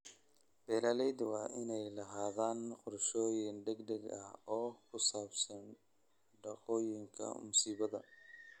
Beeralayda waa inay lahaadaan qorshooyin degdeg ah oo ku saabsan dhacdooyinka musiibada.